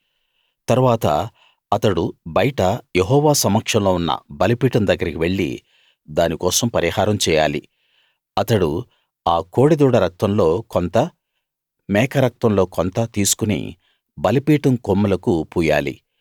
తరువాత అతడు బయట యెహోవా సమక్షంలో ఉన్న బలిపీఠం దగ్గరికి వెళ్ళి దానికోసం పరిహారం చేయాలి అతడు ఆ కోడె దూడ రక్తంలో కొంత మేక రక్తంలో కొంత తీసుకుని బలిపీఠం కొమ్ములకు పూయాలి